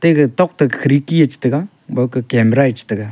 ega tokto khirki yaw chitaiga bowke camera chitaiga.